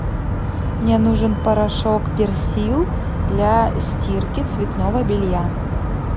мне нужен порошок персил для стирки цветного белья